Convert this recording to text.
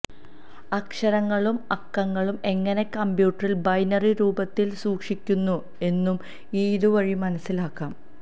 അക്ഷരങ്ങളും അക്കങ്ങളും എങ്ങനെ കമ്പ്യൂട്ടറിൽ ബൈനറി രൂപത്തിൽ സൂക്ഷിക്കുന്നു എന്നും ഇത് വഴി മനസ്സിലാക്കാം